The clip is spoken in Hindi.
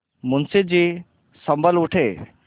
मुंशी जी सँभल उठे